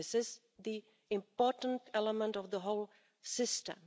This is the most important element of the whole system.